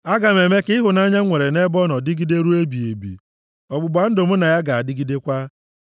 Aga m eme ka ịhụnanya m nwere nʼebe ọ nọ dịgide ruo ebighị ebi, ọgbụgba ndụ mụ na ya ga-adịgidekwa.